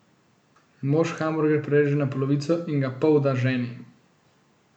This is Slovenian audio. Mož hamburger prereže na polovico in ga pol da ženi.